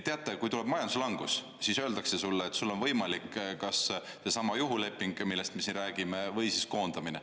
Teate, kui tuleb majanduslangus, siis öeldakse sulle, et sul on võimalik kas seesama juhuleping, millest me siin räägime, või koondamine.